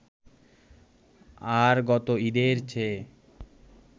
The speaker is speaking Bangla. আর গত ঈদের চেয়ে